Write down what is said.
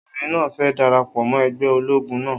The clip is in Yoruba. Obìnrin náà fẹ dara pọ mó ẹgbẹ́ ológun náà